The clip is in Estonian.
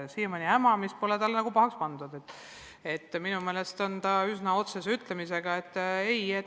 Siiamaani pole talle hämamist ette heidetud, minu meelest on ta üsna otsese ütlemisega.